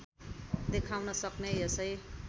देखाउन सक्ने यसै